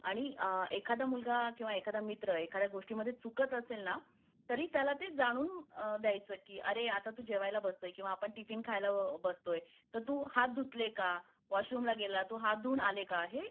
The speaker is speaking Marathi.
आणि एखादा मुलगा किंवा मित्र एखाद्या गोष्टीमध्ये चुकत असेल ना तरी त्याला ते जाणून द्यायच की अरे तू आता जेवायला बसतोय किंवा आपण टिफिन खायला बसतोय तर तू हात धुतले का , वॉशरूम ला गेला तर तू हात धुवून आले का हे